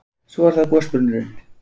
Svo er það gosbrunnurinn.